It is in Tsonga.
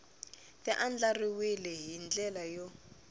ti andlariwile hi ndlela yo